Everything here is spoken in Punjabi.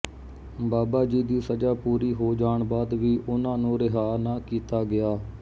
ਬਾਬਾ ਜੀ ਦੀ ਸਜ਼ਾ ਪੂਰੀ ਹੋ ਜਾਣ ਬਾਅਦ ਵੀ ਉਨ੍ਹਾਂ ਨੂੰ ਰਿਹਾਅ ਨਾ ਕੀਤਾ ਗਿਆ